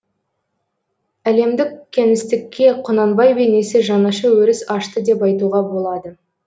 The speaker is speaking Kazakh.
әлемдік кеңістікке құнанбай бейнесі жаңаша өріс ашты деп айтуға болады